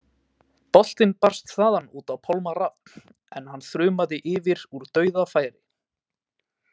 Boltinn barst þaðan út á Pálma Rafn en hann þrumaði yfir úr dauðafæri.